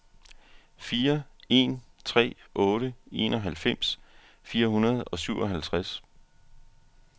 fire en tre otte enoghalvfems fire hundrede og syvoghalvtreds